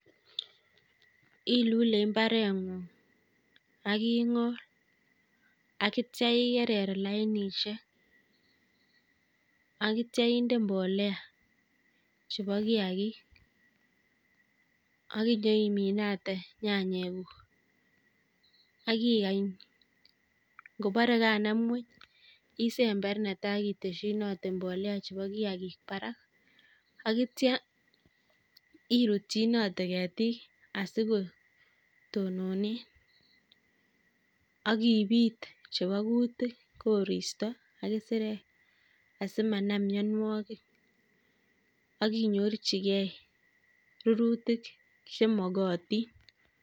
Ilule mbaretng'ung', aking'or, akitcha ikerer lainishek, akitcha inde mbolea chebo kiagik, akinyoiminate nyanyekuuk, akikany, ngobare kanam ngwuny, isember netai iteshinate mbolea chebo kiagik barak akitcha iratchinate ketik asikotonone akibiit chebo kutik, koristo, ak kisirek asimanam mnyanwogik akinyorchigei rirutik chemagatin.